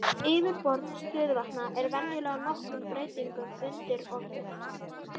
Yfirborð stöðuvatna er venjulega nokkrum breytingum undirorpið.